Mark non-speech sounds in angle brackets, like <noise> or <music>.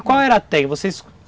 E qual era a <unintelligible> vocês